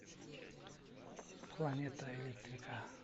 планета электрика